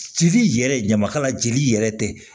Jeli yɛrɛ ɲamakala jeli yɛrɛ tɛ